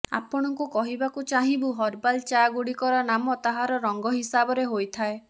ଆପଣଙ୍କୁ କହିବାକୁ ଚାହିଁବୁ ହର୍ବାଲ ଚା ଗୁଡ଼ିକର ନାମ ତାହାର ରଙ୍ଗ ହିସାବରେ ହୋଇଥାଏ